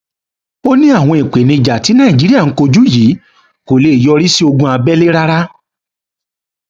ó ní àwọn ìpèníjà tí nàìjíríà ń kojú yìí kò lè yọrí sí ogun abẹlé rárá